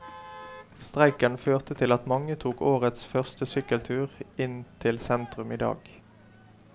Streiken førte til at mange tok årets første sykkeltur inn til sentrum i dag.